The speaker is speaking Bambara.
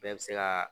Bɛɛ bɛ se ka